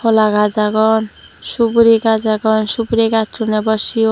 hola gaz agon suguri gaz agon suguri gassun abo siyon.